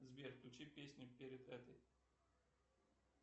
сбер включи песню перед этой